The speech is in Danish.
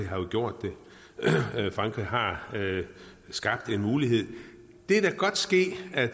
har gjort det frankrig har skabt en mulighed det kan da godt ske at